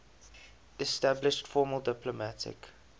established formal diplomatic